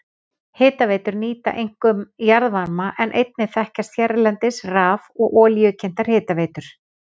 Hitaveitur nýta einkum jarðvarma en einnig þekkjast hérlendis raf- og olíukyntar hitaveitur.